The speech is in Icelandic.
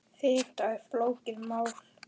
Við bíðum bara átekta.